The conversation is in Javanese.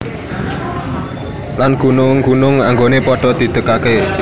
Lan gunung gunung anggoné padha didegaké